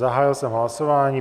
Zahájil jsem hlasování.